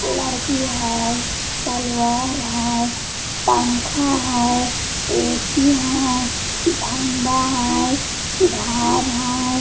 लड़की है तलवार है पंखा है ऐ.सी. है झंडा है घर है।